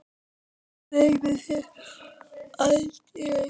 Gleymi þér aldrei.